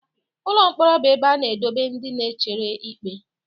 Ụlọ mkpọrọ bụ ebe a na-edobe ndị na-echere ikpe.